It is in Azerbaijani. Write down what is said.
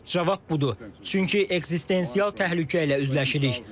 Cavab budur, çünki ekzistensial təhlükə ilə üzləşirik.